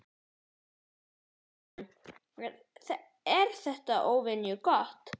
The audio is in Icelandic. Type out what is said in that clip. Ásgeir Erlendsson: Er þetta óvenju gott?